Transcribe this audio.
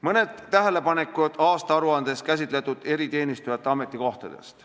Mõned tähelepanekud aastaaruandes käsitletud eriteenistujate ametikohtade kohta.